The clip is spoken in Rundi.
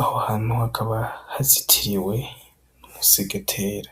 aho hantu hakaba hazitiriwe n' umusegetera.